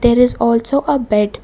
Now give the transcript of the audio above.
there is also a bed.